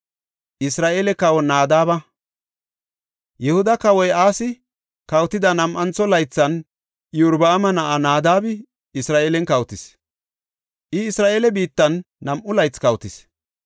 Yihuda kawoy Asi kawotida nam7antho laythan Iyorbaama na7ay Naadabi Isra7eelen kawotis; I Isra7eele biittan nam7u laythi kawotis.